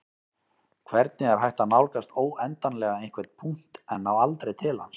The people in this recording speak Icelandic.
hvernig er hægt að nálgast óendanlega einhvern punkt en ná aldrei til hans